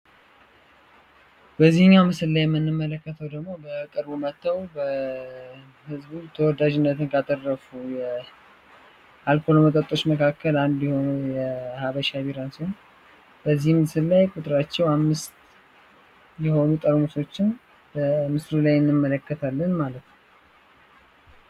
በዚህኛው ምስል ላይ የምንመለከተው ደግሞ በቅርቡ መጥተው ህዝቡ ዘንድ የተወዳጅነትን ካተረፉ የአልኮል መጠጦች ውስጥ አንዱ የሆነው የሃበሻ ቢራን ሲሆን በዚህ ምስልም ላይ ቁጥራቸው አምስት የሆኑ ጠርሙሶችን በምስሉ ላይ እንመለከታለን ማለት ነው።